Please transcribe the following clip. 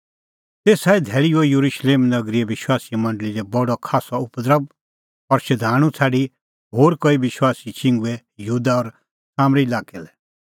शाऊल नांओं मणछ बी त इना आपणीं आछी भाल़णैं आल़अ और सह बी आसा त स्तिफनुस मारना लै राज़ी तेसा ई धैल़ी हुअ येरुशलेम नगरीए विश्वासीए मंडल़ी लै बडअ खास्सअ उपद्रभ और शधाणूं छ़ाडी होर कई विश्वासी छिंघुऐ यहूदा और सामरी लाक्कै लै